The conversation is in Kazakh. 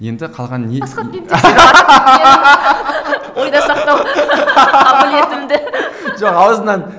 енді қалған ойға сақтау қабілетімді жоқ аузынан